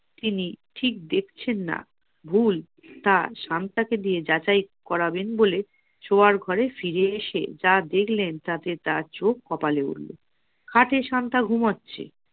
তিনি ঠিক দেখছেন না ভুল তা শান্তাকে দিয়ে যাচাই করাবেন বলে শোয়ার ঘরে ফিরে এসে যা দেখলেন তাতে তার চোখ কপালে উঠল । খাটে শান্তা ঘুমাচ্ছে